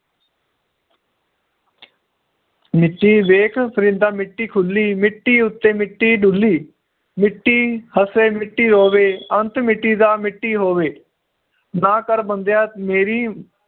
ਮਿੱਟੀ ਵੇਖ ਪਰਿੰਦਾ ਮਿੱਟੀ ਖੁੱਲੀ ਮਿੱਟੀ ਉੱਤੇ ਮਿੱਟੀ ਡੁੱਲੀ ਮਿੱਟੀ ਹਸੇ ਮਿੱਟੀ ਰੋਵੇ ਅੰਤ ਮਿੱਟੀ ਦਾ ਮਿੱਟੀ ਹੋਵੇ ਨਾ ਕਰ ਬੰਦਿਆਂ ਮੇਰੀ